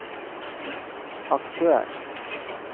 aktør